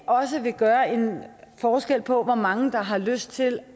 også gøre en forskel på hvor mange der har lyst til